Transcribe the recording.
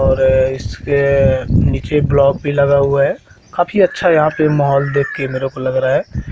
इसके नीचे ब्लॉक भी लगा हुआ है काफी अच्छा माहौल देखकर मेरे को लग रहा है।